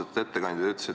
Austatud ettekandja!